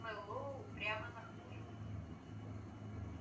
мэллоу упрямо нахмурился